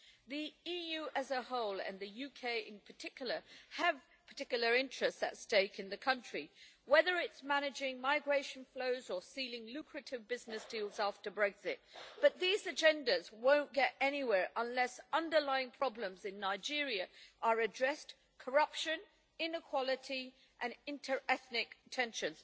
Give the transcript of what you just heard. The EU as a whole, and the UK in particular, have particular interests at stake in the country, whether it is managing migration flows or sealing lucrative business deals after Brexit, but these agendas will not get anywhere unless underlying problems in Nigeria are addressed corruption, inequality and inter ethnic tension.